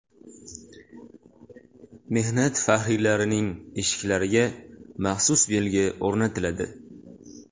Mehnat faxriylarining eshiklariga maxsus belgi o‘rnatiladi.